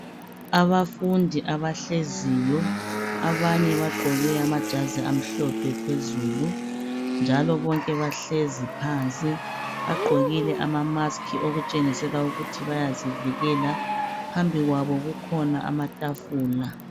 Abafundi abahleziyo abanye bagqoke amajazi amhlophe phezulu njalo bonke bahlezi phansi bagqokile amamusk okutshengisela ukuthi bayazivikela phambi kwabo kukhona amatafula.